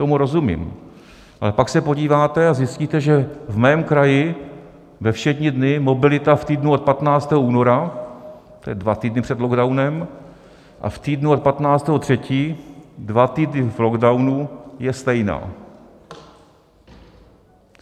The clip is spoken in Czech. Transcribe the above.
Tomu rozumím, ale pak se podíváte a zjistíte, že v mém kraji ve všední dny mobilita v týdnu od 15. února, to je dva týdny před lockdownem, a v týdnu od 15. 3., dva týdny v lockdownu, je stejná.